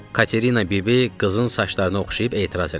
Katerina bibi qızın saçlarını oxşayıb etiraz elədi: